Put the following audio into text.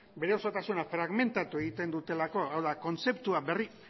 bere osotasuna fragmentatu egiten dutelako hau da